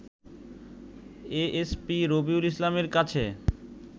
ASP Robiul ইসলামের কাছে